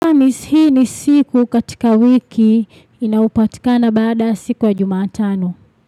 Hamisi hii ni siku katika wiki inayopatikana baada ya siku ya jumatano.